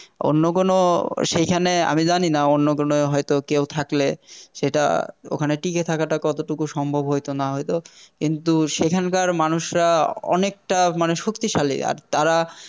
অন্য কোন সেইখানে আমি জানি না অন্য কোন হয়ত কেউ থাকলে সেটা ওখানে টিকে থাকাটা কতটুকু সম্ভব হইতো না হইতো কিন্তু সেখানকার মানুষরা অনেকটা মানে শক্তিশালী আর তারা